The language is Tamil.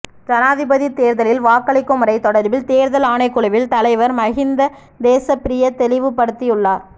ஜனாதிபதி தேர்தலில் வாக்களிக்கும் முறை தொடர்பில் தேர்தல் ஆணைக் குழுவின் தலைவர் மஹிந்த தேசப்பிரிய தெளிவுப்படுத்தியுள்ளார்